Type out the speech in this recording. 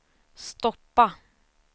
stoppa